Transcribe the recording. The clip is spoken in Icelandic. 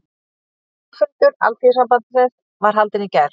Formannafundur Alþýðusambandsins var haldinn í gær